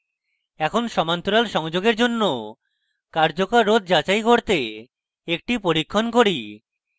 এখন সমান্তরাল সংযোগের জন্য কার্যকর রোধ যাচাই করতে একটি পরীক্ষণ করি